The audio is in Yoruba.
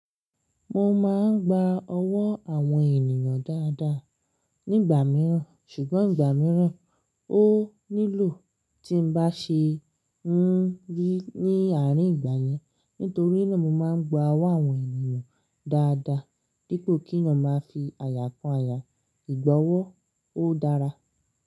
Mo máa ń gba ọwọ́ àwọn ènìyàn dáadáa nígbà mìíràn, ṣùgbọ́n ìgbà mìíràn ó nílò tí ń bá ṣe ń rí ní àárín ìgbà yẹn. Nítorí náà mo máa ń gba ọwọ́ àwọn ènìyàn dáadáa, dípò kí eyan máa fi àyà kan àyà. Gbi'gbà ọwọ́ ó dára.